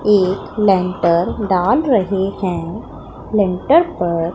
एक लेंटर डाल रहे हैं लेंटर पर--